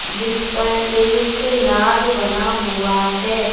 जिस पर एक नाग बना हुआ है।